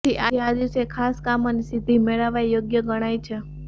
જેથી આ દિવસે ખાસ કામોની સિદ્ધિ મેળવવા યોગ્ય ગણાય છે